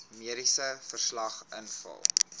mediese verslag invul